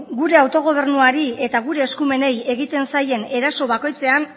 gure autogobernuari eta gure eskumeni egiten zaien eraso bakoitzean